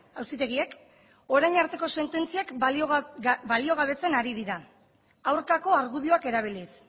auzitegiek orain arteko sententziak baliogabetzen ari dira aurkako argudioak erabiliz